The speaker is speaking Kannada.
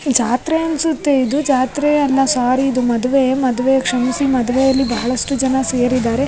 ಜಾತ್ರೆ ಅನ್ಸುತ್ತೆ ಇದು ಜಾತ್ರೆಯಲ್ಲ ಸೋರಿ ಇದು ಮದುವೆ ಮದುವೆ ಕ್ಷಮಿಸಿ ಮದುವೆ ಯಲ್ಲಿ ಬಹಳಷ್ಟು ಜನ ಸೇರಿದಾರೆ.